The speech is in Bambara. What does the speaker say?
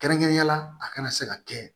Kɛrɛnkɛrɛnnenya la a kana se ka kɛ